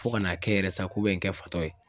Fo ka n'a kɛ yɛrɛ sako bɛ n kɛ fatɔ ye.